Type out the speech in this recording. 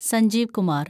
Sanjeev Kumar